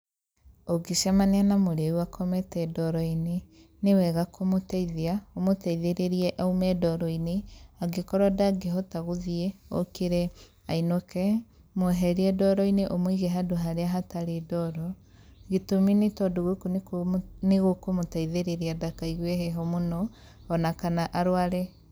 Ũngĩcemania na mũrĩu akomete ndoroinĩ nĩ wega kũmũteithia, ũmũteithĩrĩrie aume ndoroinĩ, angĩkorwo ndangĩhota guthiĩ, okĩre ainũke, mweherie ndoroinĩ ũmũige handũ haria hatarĩ ndoro, gĩtumi nĩ tondũ gũkũ nĩku nĩgũkũmũteithĩrĩria ndakaigwe heho mũno ona kana arware.